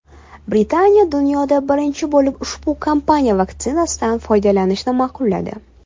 Britaniya dunyoda birinchi bo‘lib ushbu kompaniya vaksinasidan foydalanishni ma’qulladi .